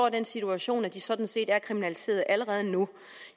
i den situation at de sådan set er kriminaliseret allerede nu